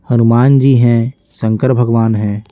हनुमान जी हैं शंकर भगवान हैं।